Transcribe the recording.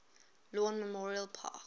lawn memorial park